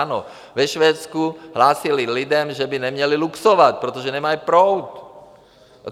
Ano, ve Švédsku hlásili lidem, že by neměli luxovat, protože nemají proud.